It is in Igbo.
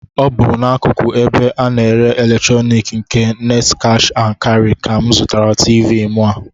Ọ bụ n'akụkụ ebe a na-ere eletroniki nke Next Cash and Carry ka m zụrụ Tiivii mụ a